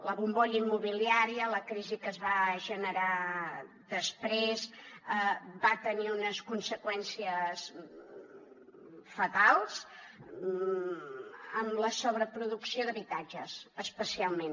la bombolla immobiliària la crisi que es va generar després van tenir unes conseqüències fatals en la sobreproducció d’habitatges especialment